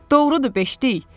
Doğrudur beşlik.